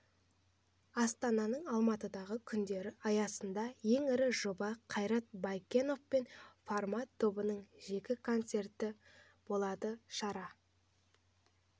астананың алматыдағы күндері аясындағы ең ірі жоба қайрат баекенов пен формат тобының жеке концерті болады шара